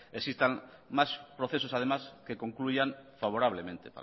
existan más procesos además que concluyan favorablemente